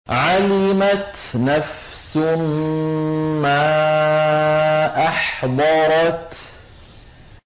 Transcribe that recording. عَلِمَتْ نَفْسٌ مَّا أَحْضَرَتْ